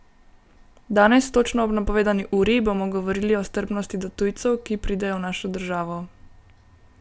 Danes, točno ob napovedani uri, bomo govorili o strpnosti do tujcev, ki pridejo v našo državo.